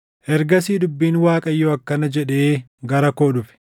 Ergasii dubbiin Waaqayyoo akkana jedhee gara koo dhufe;